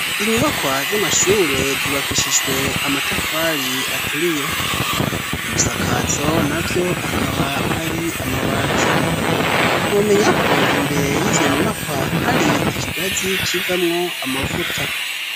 Inyubakwa z'amashure zubakishijwe amatafari aturiye ibisakazo navyo akaba ari amabati numenya ko imbere y'izo nyumakwa hari ikigazi civamwo amavuta.